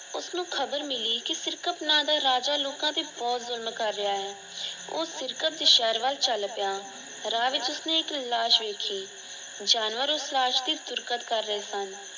ਉਸਨੂੰ ਖਬਰ ਮਿਲੀ ਕਿ ਸਿਰਕਤ ਨਾਂ ਦਾ ਰਾਜਾ ਲੋਕਾਂ ਤੇ ਬਹੁਤ ਜੁਲਮ ਕਰ ਰਿਆ ਹੈ । ਓਹ ਸਿਰਕਤ ਦੇ ਸ਼ਹਿਰ ਵਲ ਚਲ ਪਿਆ । ਰਾਹ ਵਿੱਚ ਉਸਨੇ ਇੱਕ ਲਾਸ਼ ਵੇਖੀ। ਜਾਨਵਰ ਉਸ ਲਾਸ਼ ਦੀ ਪੁਰਕਤ ਕਰ ਰਹੇ ਸਨ ।